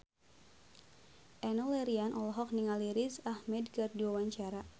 Enno Lerian olohok ningali Riz Ahmed keur diwawancara